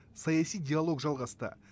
саяси диалог жалғасты